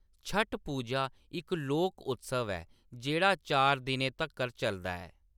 छठ पूजा इक लोक उत्सव ऐ जेह्‌‌ड़ा चार दिनें तक्कर चलदा ऐ।